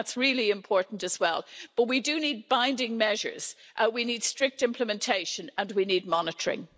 That's also really important, but we do need binding measures, we need strict implementation, and we need monitoring.